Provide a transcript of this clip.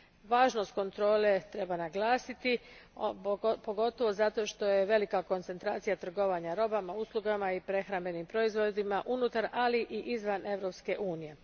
Važnost kontrole treba naglasiti, pogotovo zato što je velika koncentracija trgovanja robama, uslugama i prehrambenim proizvodima unutar, ali i izvan Europske unije.